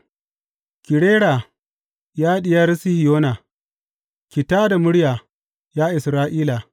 Ki rera, ya Diyar Sihiyona; ki tā da murya, ya Isra’ila!